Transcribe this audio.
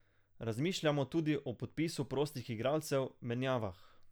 Razmišljamo tudi o podpisu prostih igralcev, menjavah.